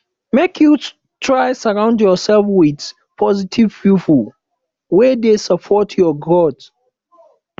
make you try surround yourself with positive people wey dey support your growth